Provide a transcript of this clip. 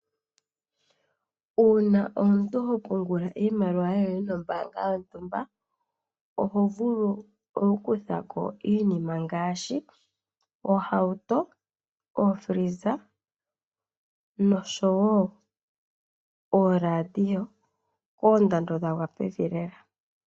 Uuna omuntu hopungula iimaliwa yoye nombaanga yontumba oho vulu okukutha ko iinima ngaashi oohauto ookila dhokutalaleka nosho wo ooladio koondando dhagwa pevi lela.